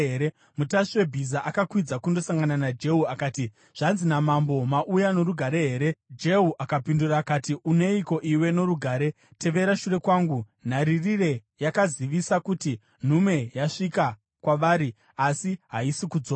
Mutasvi webhiza akakwidza kundosangana naJehu akati, “Zvanzi namambo, ‘Mauya norugare here?’ ” Jehu akapindura akati, “Uneiko iwe norugare? Tevera shure kwangu.” Nharirire yakazivisa kuti, “Nhume yasvika kwavari, asi haisi kudzoka.”